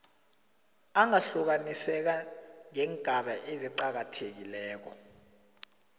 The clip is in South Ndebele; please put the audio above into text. angahlukaniseka ngeengaba eziqakathekileko